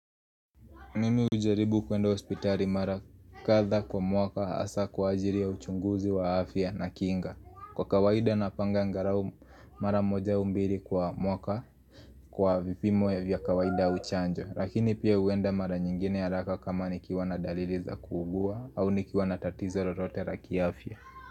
Mimi ujaribu kwenda hospitali mara katha kwa mwaka asa kwa ajiri ya uchunguzi wa afya na kinga Kwa kawaida na panga ngarao mara moja au mbiri kwa mwaka kwa vipimo ya vya kawaida uchanjo Lakini pia uenda mara nyingine ya raka kama nikiwa na daliri za kugua au nikiwa na tatizo rote raki afya.